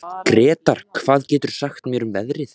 Gretar, hvað geturðu sagt mér um veðrið?